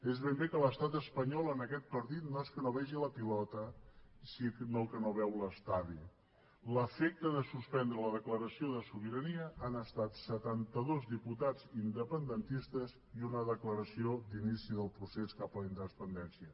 és ben bé que l’estat espanyol en aquest partit no és que no vegi la pilota sinó que no veu l’estadi l’efecte de suspendre la declaració de sobirania han estat setantados diputats independentistes i una declaració d’inici del procés cap a la independència